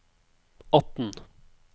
atten